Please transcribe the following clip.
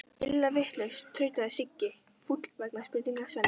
Illa vitlaus, tautaði Siggi fúll vegna spurningar Svenna.